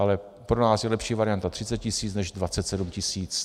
Ale pro nás je lepší varianta 30 tis. než 27 tis.